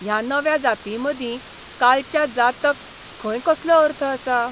ह्या नव्या जातींमदीं कालच्या जातक खंय कसलो अर्थ आसा?